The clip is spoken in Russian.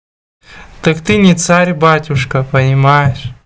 так ты не царь батюшка понимаешь